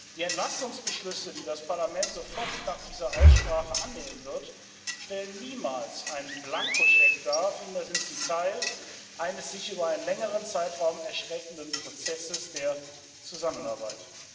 Die Entlastungsbeschlüsse, die das Parlament sofort nach dieser Aussprache annehmen wird, stellen niemals einen Blankoscheck dar vielmehr sind sie Teil eines sich über einen längeren Zeitraum erstreckenden Prozesses der Zusammenarbeit.